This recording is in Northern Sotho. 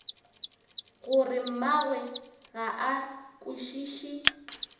gore mmagwe ga a kwešiše